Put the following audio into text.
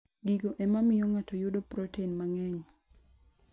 Gigo e ma miyo ng'ato yudo protein mang'eny.